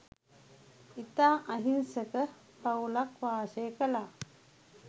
ඉතා අහිංසක පවුලක් වාසය කළා.